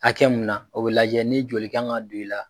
Hakɛ mun na o bɛ lajɛ ni joli kan ka don i la.